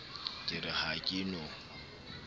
ke re ha ke no